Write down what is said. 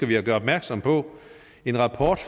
vi at gøre opmærksom på at en rapport